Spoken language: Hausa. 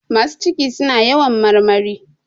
Masu ciki suna yawan marmari.